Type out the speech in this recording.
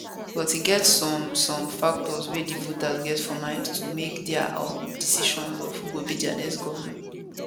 but e get some some factors wey di voters get for mind to make dia um decison of who go be dia next govnor